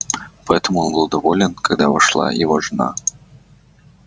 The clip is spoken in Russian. поэтому он был доволен когда вошла его жена